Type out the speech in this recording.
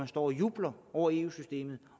står og jubler over eu systemet